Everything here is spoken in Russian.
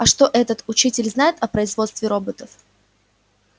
а что этот учитель знает о производстве роботов